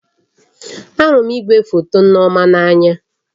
Ahụrụ m igwefoto Nneoma n'anya